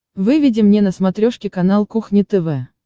выведи мне на смотрешке канал кухня тв